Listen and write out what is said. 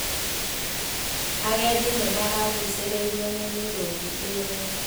Agendi nĩmaragucĩrĩirio nĩ mĩrũthi ĩrĩa